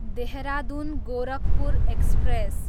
Dehradun, Gorakhpur express